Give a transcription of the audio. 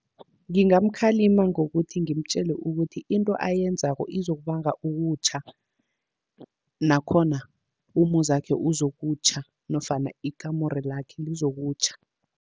Ngingamkhalima ngokuthi ngimtjele ukuthi, into ayenzako izokubanga ukutjha. Nakhona umuzakhe uzokutjha nofana ikamuro lakhe lizokutjha.